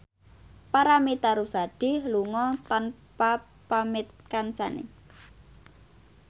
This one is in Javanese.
Paramitha Rusady lunga tanpa pamit kancane